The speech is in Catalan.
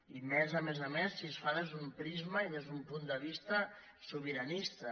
i més a més a més si es fa des d’un prisma i des d’un punt de vista sobiranista